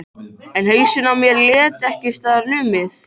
En hausinn á mér lét ekki staðar numið.